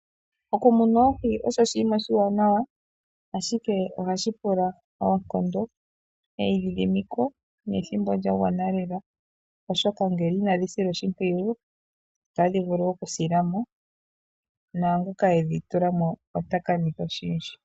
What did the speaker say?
Okumuna oohi osho oshinima oshiwanawa, ashike ohashi pula oonkondo, eyidhidhimiko, nethimbo lyagwana lela. Ngele inadhi silwa oshimpwiyu, otadhi vulu okusilamo, naangoka e dhitulamo ota kanitha oshindji.